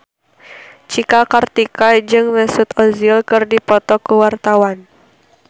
Cika Kartika jeung Mesut Ozil keur dipoto ku wartawan